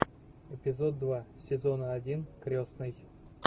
эпизод два сезона один крестный